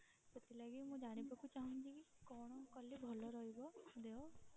ସେଥିଲାଗି ମୁଁ ଜାଣିବାକୁ ଚାହୁଁଛି କି କଣ କଲେ ଭଲ ରହିବ ଦେହ?